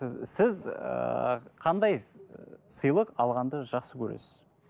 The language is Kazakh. і сіз ііі қандай сыйлық алғанды жақсы көресіз